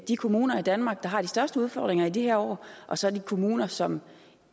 de kommuner i danmark der har de største udfordringer i de her år og så de kommuner som